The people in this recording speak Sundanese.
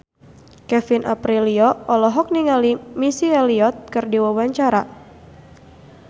Kevin Aprilio olohok ningali Missy Elliott keur diwawancara